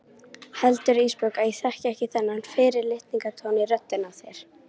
Heldurðu Ísbjörg að ég þekki ekki þennan fyrirlitningartón í röddinni á þér?